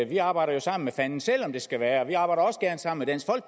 vi arbejder jo sammen med fanden selv om det skal være og vi arbejder også gerne sammen